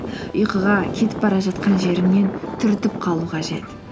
ұйқыға кетіп бара жатқан жеріңнен түртіп қалу қажет